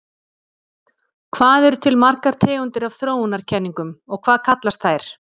Hvað eru til margar tegundir af þróunarkenningum og hvað kallast þær?